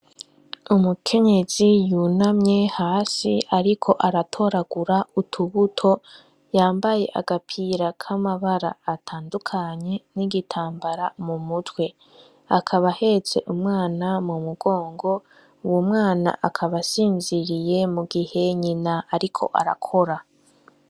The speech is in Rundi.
Umukenyezi yunamye hasi ariko aratoragura utubuto, yambaye agapira k'amabara atandukanye n'igitambara mu mutwe, akaba ahetse umwana mu mugongo, uwo mwana akaba asinziriye mu gihe nyina ariko arakora.